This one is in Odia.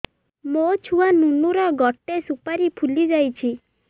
ମୋ ଛୁଆ ନୁନୁ ର ଗଟେ ସୁପାରୀ ଫୁଲି ଯାଇଛି